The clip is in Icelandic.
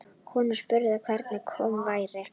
Konan spurði hver kominn væri.